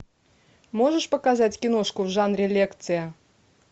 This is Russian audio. можешь показать киношку в жанре лекция